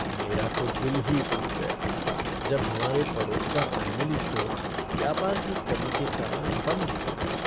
मेरा तो दिल ही टूट गया जब हमारे पड़ोस का फ़ैमिली स्टोर व्यापार की कमी के कारण बंद हो गया।